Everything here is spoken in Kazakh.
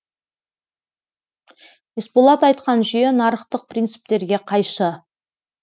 есболат айтқан жүйе нарықтық принциптерге қайшы